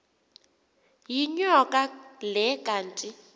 yinyoka le kanti